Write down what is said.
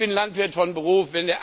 Ich bin Landwirt von Beruf.